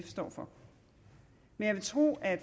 står for men jeg vil tro at